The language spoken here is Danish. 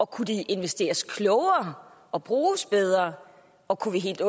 kunne de investeres klogere og bruges bedre og kunne vi helt